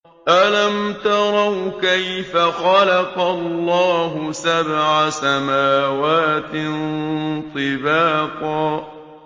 أَلَمْ تَرَوْا كَيْفَ خَلَقَ اللَّهُ سَبْعَ سَمَاوَاتٍ طِبَاقًا